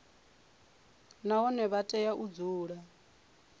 nahone vha tea u dzula